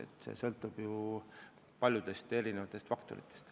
Nii et kõik sõltub ju paljudest erinevatest faktoritest.